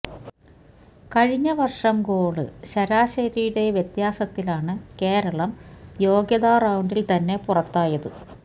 കഴിഞ്ഞ വര്ഷം ഗോള് ശരാശരിയുടെ വ്യത്യാസത്തിലാണ് കേരളം യോഗ്യതാ റൌണ്ടില് തന്നെ പുറത്തായത്